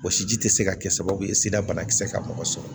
Wɔsi ji te se ka kɛ sababu ye sida banakisɛ ka mɔgɔ sɔrɔ